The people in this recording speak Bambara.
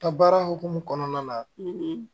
Ta baara hukumu kɔnɔna na